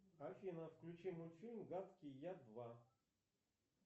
афина включи мультфильм гадкий я два